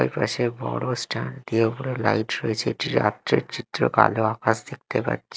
এপাশে বড় স্ট্যান্ড দিয়ে উপরে লাইট রয়েছে এটি রাত্রের চিত্র কালো আকাশ দেখতে পাচ্ছি।